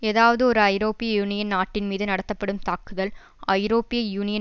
ஏதாவது ஒரு ஐரோப்பிய யூனியன் நாட்டின் மீது நடத்து படும் தாக்குதல் ஐரோப்பிய யூனியன்